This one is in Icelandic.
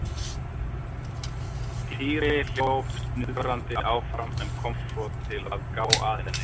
Týri hljóp snuðrandi áfram en kom svo til að gá að henni.